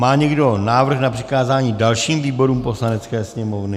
Má někdo návrh na přikázání dalším výborům Poslanecké sněmovny?